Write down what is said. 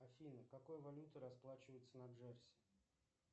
афина какой валютой расплачиваются на джерси